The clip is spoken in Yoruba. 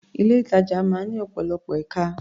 Ilé-ìtàjà máa ń ní ọ̀pọ̀lọpọ̀ ẹ̀ka.